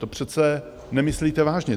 To přece nemyslíte vážně!